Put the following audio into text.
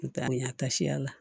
Taa ni a ka siya la